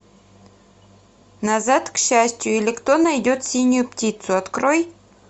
назад к счастью или кто найдет синюю птицу открой